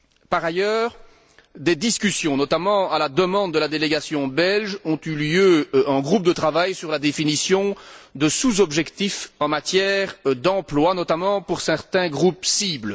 Par ailleurs, des discussions notamment à la demande de la délégation belge ont eu lieu en groupe de travail sur la définition de sous objectifs en matière d'emploi, notamment pour certains groupes cibles.